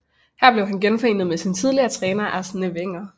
Her blev han genforenet med sin tidligere træner Arsène Wenger